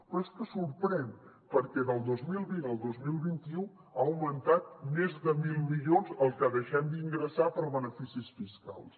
però és que sorprèn perquè del dos mil vint al dos mil vint u ha augmentat més de mil milions el que deixem d’ingressar per beneficis fiscals